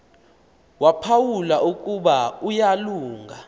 waphawula ukuba uyalunga